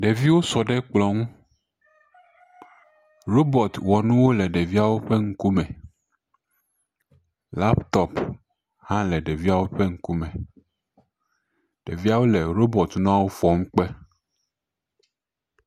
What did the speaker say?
Ɖeviwo sɔ ɖe kplɔ nu. Robɔtiwɔnuwo le ɖeviawo ƒe ŋkume. Laptop hã le ɖeviawo ƒe ŋku me. Ɖeviawo le robɔti nuawo fɔm kpe.